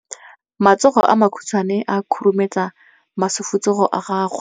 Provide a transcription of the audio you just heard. matsogo a makhutshwane a khurumetsa masufutsogo a gago